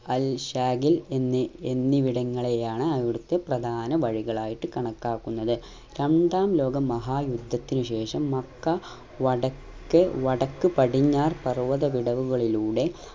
അൽ ശാഖിൽ എന്നി എന്നിവിടങ്ങളിലാണ് അവിടത്തെ പ്രധാന വഴികളായിട്ട് കണക്കാക്കുന്നത് രണ്ടാം ലോക മഹാ യുദ്ധത്തിനു ശേഷം മക്ക വടക്ക് വടക്ക് പടിഞ്ഞാർ പർവത വിടവുകളിലൂടെ